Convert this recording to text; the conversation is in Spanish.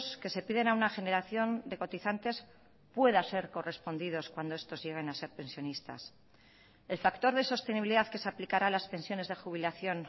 que se piden a una generación de cotizantes pueda ser correspondidos cuando estos lleguen a ser pensionistas el factor de sostenibilidad que se aplicará a las pensiones de jubilación